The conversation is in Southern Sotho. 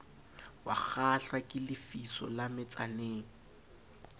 wakgahlwa ke lefiso la metsaneng